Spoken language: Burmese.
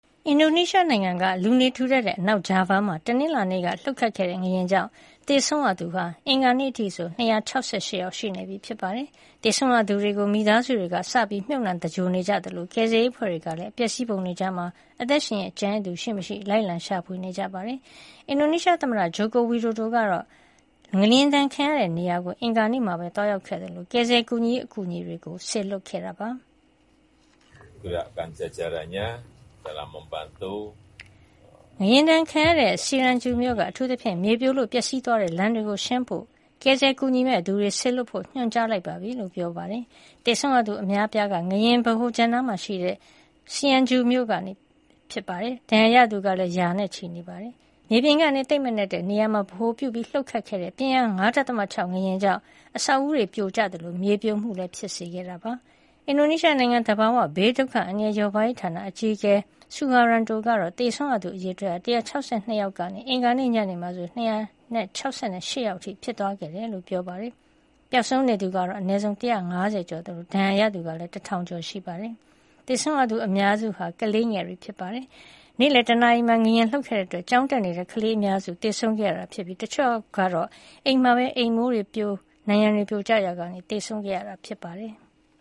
အင်ဒိုနီးရှားနိုင်ငံက လူနေထူထပ်တဲ့ အနောက်ဂျာဗား မှာ တနင်္လာနေ့ကလှုပ်ခဲ့တဲ့ ငလျင်ကြောင့် သေဆုံးရသူဟာ အင်္ဂါနေ့အထိဆို ၂၆၈ ယောက် ရှိနေပြီဖြစ်ပါတယ်။ သေဆုံးရသူတွေကို မိသားစုတွေက စပြီးမြျပ်နှံသဂြိုဟ်နေကြသလို ကယ်ဆယ်ရေးအဖွဲ့တွေကလည်း အပျက်အစီးပုံ တွေကြား အသက်ရှင်ကျန်ရစ်သူရှိမရှိ လိုက်လံရှာဖွေနေကြပါတယ်။ အင်ဒိုနီးရှားသမ္မတ ဂျိုးကိုဝီဒိုဒိုကတော့ ငလျင်ဒဏ်ခံရတဲ့နေရာကို အင်္ဂါနေ့မှာပဲ သွားရောက်ခဲ့သလို ကယ်ဆယ်ရေးအကူအညီတွေလည်း စေလွှတ်ခဲ့ပါတယ်။ "ငလျင်ဒဏ်ခံရတဲ့ စီရန်ဂျူ Cianjur မြို့က အထူးသဖြင့် မြေပြိုလို့ ပျက်စီးသွားတဲ့ လမ်းတွေကို ရှင်းဖို့ ကယ်ဆယ်ကူညီမယ့် သူတွေ စေလွှတ်ဖို့ ညွှန်ကြားလိုက်ပါပြီ။” လို့ပြောသွားတာပါ။ သေဆုံးရသူ အများဆုံးက ငလျင်ဗဟိုချက်နားမှာရှိတဲ့ Cianjur မြို့ကဖြစ်ပါတယ်။ ဒဏ်ရာရသူကလည်း ရာနဲ့ချီရှိနေပါတယ်။ မြေပြင်ကနေ သိပ်မနက်တဲ့ နေရာမှာ ဗဟိုပြုလှုပ်ခတ်တဲ့ ပြင်းအား ၅.၆ ငလျင်ကြောင့် အဆောက်အဦးတွေပြိုကျခဲ့သလို မြေပြိုမှုလည်း ဖြစ်စေခဲ့တာပါ။ အင်ဒိုနီးရှားနိုင်ငံ သဘာဝဘေးဒုက္ခအန္တရာယ် လျော့ပါးရေး ဌာန အကြီးအကဲ Suharyanto ကတော့ သေဆုံးရသူ အရေအတွက်ဟာ ၁၆၂ ယောက်ကနေ အင်္ဂါနေ့ညနေမှာဆို ၂၆၈ ယောက်အထိ ဖြစ်သွားခဲ့တယ်လို့ ပြောပါတယ်။ ပျောက်ဆုံးနေသူက အနည်းဆုံး ၁၅၀ ကျော်သလို ဒဏ်ရာရသူကလည်း ၁၀၀၀ ကျော်ရှိနေတာပါ။ သေဆုံးရသူအများစုဟာ ကလေးငယ်တွေ ဖြစ်ပါတယ်။ နေ့လည်း တနာရီမှာ ငလျင်လှုပ်ခဲ့တဲ့ အတွက် ကျောင်းတက်နေတဲ့ ကလေးအများစု သေဆံးခဲ့ရတာ ဖြစ်ပြီး တချို့ှုကတော့ အိမ်မှာပဲ အိမ်အမိုးတွေ နံတွေပြိုကျရာက သေဆုံးခဲ့ရတာ ဖြစ်ပါတယ်။